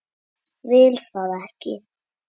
Vil það ekki.